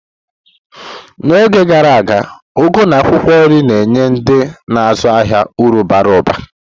N'oge gara aga, ugu na akwukwo nri na-enye ndị na-azụ ahịa uru bara ụba.